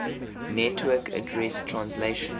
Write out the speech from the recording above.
network address translation